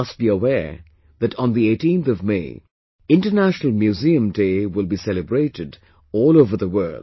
You must be aware that on the 18th of MayInternational Museum Day will be celebrated all over the world